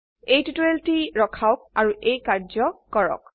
এই টিউটোৰিয়েলটি ৰখাওক আৰু এই অনুশীলনীটি কৰক